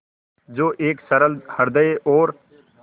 जो एक सरल हृदय और